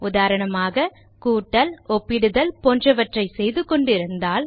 உதாரணமாக கூட்டல் ஒப்பிடுதல் போன்றவற்றை செய்துகொண்டு இருந்தால்